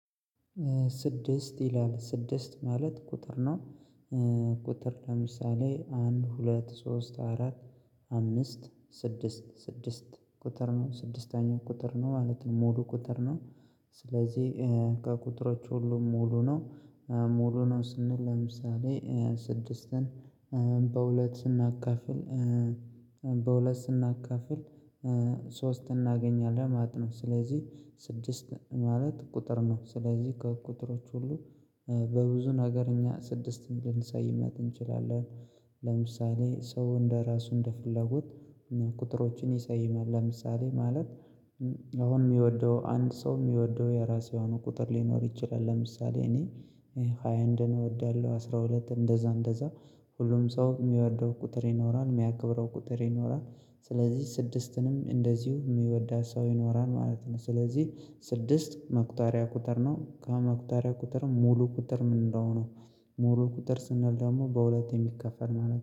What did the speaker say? ስድስት ይላል ስድስት ማለት ቁጥር ነው። ቁጥር ለምሳሌ አንድ ሁለት ሶስት አራት አምስት ስድስት ስድስት ቁጥር ነው ስድስተኛው ቁጥር ነው ማለት ነው ሞዱ ቁጥር ነው። ስለዚህ ከቁጥሮች ሁሉ ሙሉ ነው ሙሉ ነው ስንል ለምሳሌ ስድስትን በሁለት ስናካፍል በሁለት ስናካፍል ሶስት እናገኛለን ማለት ነው። ስለዚህ ስድስት ማለት ቁጥር ነው ስለዚህ ከቁጥሮች ሁሉ በብዙ ነገር እኛ ስድስትን ልንሰይማት እንችላለን። ለምሳሌ ሰው እንደራሱ እንደፍለጉት ቁጥሮችን ይሰይማል ለምሳሌ ማለት አሁን የሚወደው አንድ ሰው የሚወደው የራሴ የሆኑ ቁጥር ሊኖር ይችላል። ለምሳሌ እኔ ሃያ አንድን እወዳለሁ አስራ ሁለት እንደዛ እንደዛ ሁሉም ሰው የሚወደው ቁጥር ይኖራል የሚያከብረው ቁጥር ይኖራል። ስለዚህ ስድስትንም እንደዚሁ የሚወዳ ሰው ይኖራል ማለት ነው። ስለዚህ ስድስት መቁጠሪያ ቁጥር ነው ከመቁጠሪያ ቁጥር ሙሉ ቁጥር ምን እንደሆነ? ሙሉ ቁጥር ስንል ደግሞ በሁለት የሚከፈል ማለት